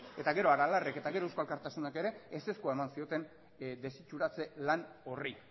eta gero aralarrek eta gero eusko alkartasunak ere ezezkoa eman zioten desitxuratze lan horri